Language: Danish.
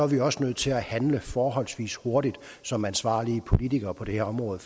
vi også nødt til at handle forholdsvis hurtigt som ansvarlige politikere på det her område